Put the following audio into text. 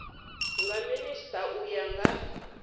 nga minisita u ya nga